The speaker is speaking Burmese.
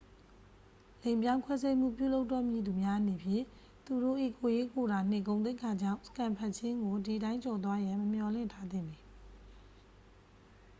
လိင်ပြောင်းခွဲစိတ်မှုပြုလုပ်တော့မည်သူများအနေဖြင့် သူတို့၏ ကိုယ်ရေးကိုယ်တာနှင့်ဂုဏ်သိက္ခာကြောင့် စကန်ဖတ်ခြင်းကိုဒီတိုင်းကျော်သွားရန် မမျှော်လင့်ထားသင့်ပေ